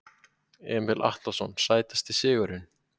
Emil Atlason Sætasti sigurinn?